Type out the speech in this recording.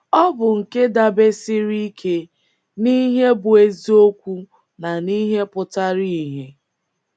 Ọ bụ nke dabesiiri ike n’ihe bụ́ eziokwu na n’ihe pụtara ìhè.